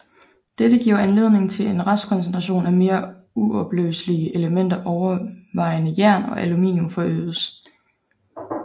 Dette giver anledning til at restkoncentration af mere uopløselige elementer overvejende jern og aluminum forøges